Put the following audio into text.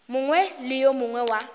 mongwe le yo mongwe wa